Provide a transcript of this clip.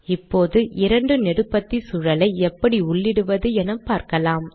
இப்போது இரண்டு நெடுபத்தி சூழலை எப்படி உள்ளிடுவது என்று பார்க்கலாம்